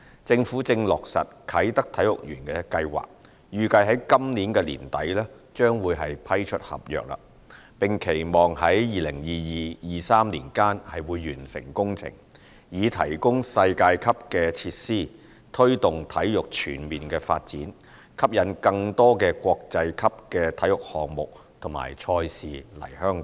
政府正落實啟德體育園計劃，預計在今年年底將會批出合約，並期望在2022年至2023年間完成工程，以提供世界級設施推動體育全面發展，吸引更多國際級體育項目及賽事來港。